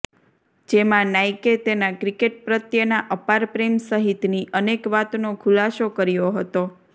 જેમાં નાઈકે તેના ક્રિકેટ પ્રત્યેના અપાર પ્રેમ સહિતની અનેક વાતનો ખુલાસો કર્યો હતો